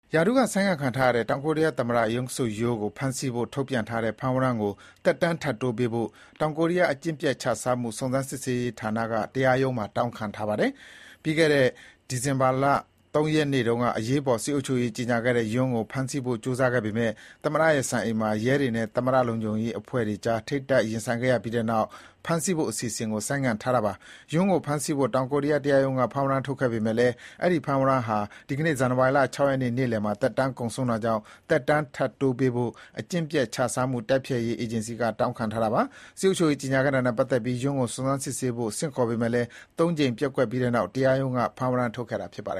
ရာထူးကဆိုင်းငံ့ခံထားရတဲ့ တောင်ကိုရီးယားသမ္မတ Yoon Suk Yeol ဖမ်းဖို့ ထုတ်ပြန်ထားတဲ့ဝရမ်းကို သက်တမ်း ထပ်တိုးပေးဖို့ တောင်ကိုရီးယား အကျင့်ပျက်ချစားမှု စုံစမ်းစစ်ဆေးရေးဌာနက တရားရုံးမှာ တောင်းခံထားပါတယ်။ ပြီးခဲ့တဲ့ ဒီဇင်ဘာလ ၃ ရက်နေ့တုန်းက အရေးပေါ် စစ်အုပ်ချုပ်ရေး ကြေညာခဲ့တဲ့ Yoon ကို ဖမ်းဆီးဖို့ ကြိုးစားခဲ့ပေမယ့် သမ္မတရဲ့စံအိမ်မှာ ရဲတွေနဲ့ သမ္မတ လုံခြုံရေးအဖွဲ့ကြား ထိပ်တိုက်ရင်ဆိုင်ခဲ့ရပြီးနောက် ဖမ်းဆီးဖို့ အစီအစဥ်ကို ဆိုင်းငံ့ထားတာပါ။ Yoon ကိုဖမ်းဆီးဖို့ တောင်ကိုရီးယားတရားရုံးက ဖမ်းဝရမ်းထုတ်ခဲ့ပေမယ့်လည်း အဲဒီဖမ်းဝရမ်းဟာ ဒီကနေ့ ဇန်နဝါရီ ၆ ရက် နေ့လယ်မှာ သက်တမ်းကုန်ဆုံးတာကြောင့် သက်တမ်း ထပ်တိုးပေးဖို့ အကျင့်ပျက်ချစားမှုတိုက်ဖျက်ရေးအေးဂျင်စီက တောင်းခံထားတာပါ။ စစ်အုပ်ချုပ်ရေးကြေညာခဲ့တာနဲ့ ပတ်သက်ပြီး Yoon ကို စုံစမ်းစစ်ဆေးဖို့ ဆင့်ခေါ်ပေမယ့်လည်း ၃ ကြိမ် ပျက်ကွက်ပြီးနောက် တရားရုံးက ဖမ်းဝရမ်း ထုတ်ခဲ့ပါတ